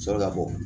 Sɔrɔ ka bɔ